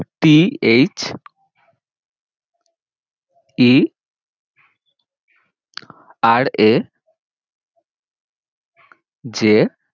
t h e r a j